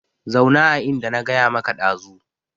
Zauna a inda na gaya maka dazu